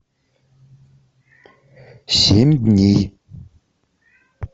семь дней